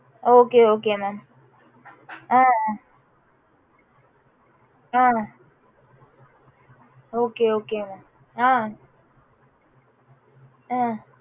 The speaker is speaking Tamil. okay okay mam hmm hmm